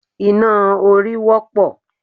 Iná orí wọ́pọ̀